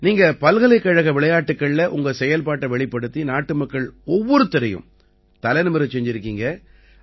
நீங்க பல்கலைகழக விளையாட்டுக்கள்ல உங்க செயல்பாட்டை வெளிப்படுத்தி நாட்டுமக்கள் ஒவ்வொருவரையும் தலை நிமிரச் செய்திருக்கீங்க